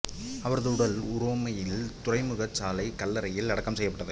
அவரது உடல் உரோமையில் துறைமுகச் சாலைக் கல்லறையில் அடக்கம் செய்யப்பட்டது